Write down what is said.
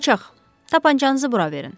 qocaq, tapançanızı bura verin.